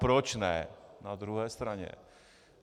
Proč ne na druhé straně?